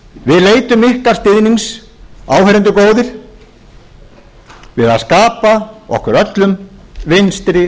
við leitum ykkar stuðnings áheyrendur góðir við að skapa okkur öllum vinstri